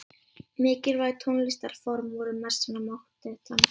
Mikilvæg tónlistarform voru messan og mótettan.